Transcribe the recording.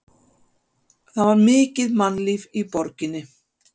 Það var mikið mannlíf í borginni.